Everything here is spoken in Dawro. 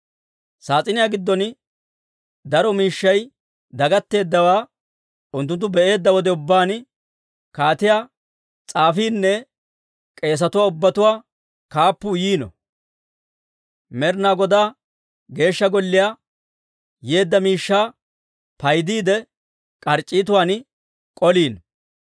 Saas'iniyaa giddon daro miishshay dagatteeddawaa unttunttu be'eedda wode ubbaan, kaatiyaa s'aafiinne k'eesatuwaa ubbatuwaa kaappuu yiino; Med'ina Godaa Geeshsha Golliyaa yeedda miishshaa paydiide, k'arc'c'iitatuwaan k'oliino.